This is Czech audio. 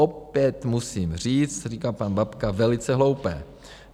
Opět musím říct - říká pan Babka - velice hloupé.